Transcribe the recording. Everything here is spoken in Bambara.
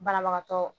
Banabagatɔ